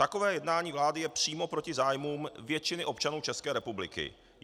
Takové jednání vlády je přímo proti zájmům většiny občanů České republiky.